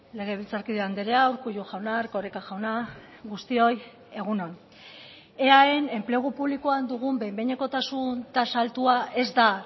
legebiltzarkide andrea urkullu jauna erkoreka jauna guztioi egun on eaen enplegu publikoan dugun behin behinekotasun tasa altua ez da